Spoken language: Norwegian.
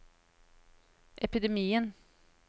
epidemien